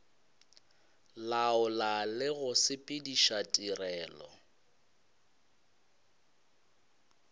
laola le go sepediša tirelo